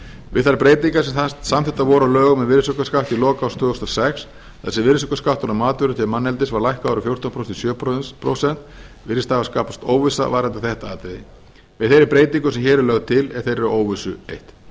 við þær breytingar sem samþykktar voru á lögum um virðisaukaskatt í lok árs tvö þúsund og sex þar sem virðisaukaskattur á matvöru til manneldis var lækkaður úr fjórtán prósent í sjö prósent virðist hafa skapast óvissa varðandi þetta atriði með þeirri breytingu sem hér er lögð til er þeirri óvissu eytt